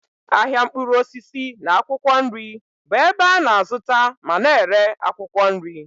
Ahịa mkpụrụ osisi na akwụkwọ nri bụ ebe a na-azụta ma na-ere akwụkwọ nri.